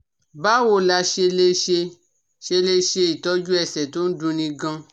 Báwo la ṣe lè ṣe ṣe lè ṣe itoju ẹsẹ̀ to n dunni gan-an?